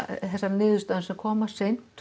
þessa niðurstaðna sem koma seint